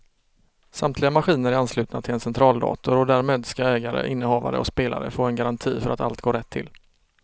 Samtliga maskiner är anslutna till en centraldator och därmed ska ägare, innehavare och spelare få en garanti för att allt går rätt till.